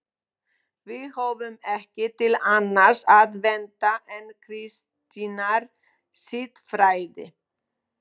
Við höfum ekki til annars að venda en kristinnar siðfræði.